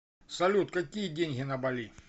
салют какие деньги на бали